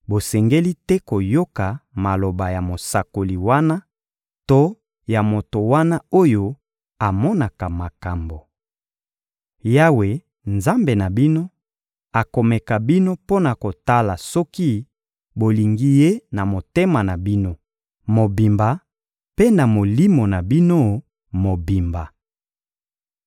bosengeli te koyoka maloba ya mosakoli wana to ya moto wana oyo amonaka makambo. Yawe, Nzambe na bino, akomeka bino mpo na kotala soki bolingi Ye na motema na bino mobimba mpe na molimo na bino mobimba.